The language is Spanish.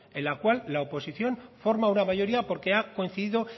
en la cual la oposición forma una mayoría porque ha coincidido